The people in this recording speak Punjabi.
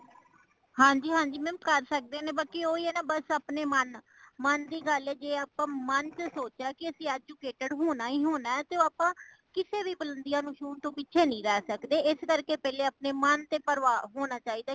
ਹਾਂਜੀ ਹਾਂਜੀ , mam ਕਰ ਸਕਦੇ ਨੇ ਬਾਕੀ ਓਹੀ ਹੈ ਨਾ , ਬਸ ਆਪਣੇ ਮਨ ਦੀ ਗੱਲ ਹੈ , ਜੇ ਅਸੀਂ ਮਨ ਵਿਚ ਸੋਚਿਆ ਕੇ ਅਸੀਂ educated ਹੋਣਾ ਹੀ ਹੋਣਾ ਤੇ ਆਪਾ ਕਿਸੀ ਵੀ ਉਲੰਦੀਆਂ ਨੂੰ ਛੁਨ ਤੋਂ ਪਿੱਛੇ ਨਹੀਂ ਰਹਿ ਸੱਕਦੇ ਇਸ ਕਰਕੇ ਪਹਲੇ ਆਪਣੇ ਮਨ ਤੇ ਪ੍ਰਭਾਵ ਹੋਣਾ ਚਾਹੀਦਾ